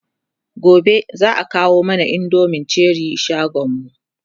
gobe zaa kawo mana indomin Cherie shagonmu